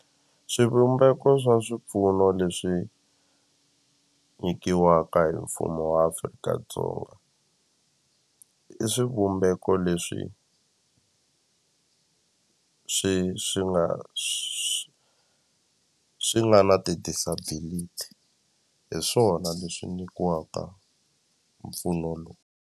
Swivumbeko swa swipfuno leswi nyikiwaka hi mfumo wa Afrika-Dzonga i swivumbeko leswi swi swi nga swi swi nga na ti-disability hi swona leswi nyikiwaka mpfuno .